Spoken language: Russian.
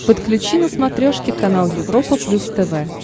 подключи на смотрешке канал европа плюс тв